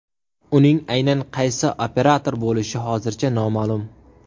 Uning aynan qaysi operator bo‘lishi hozircha noma’lum.